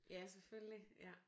Ja selvfølgelig ja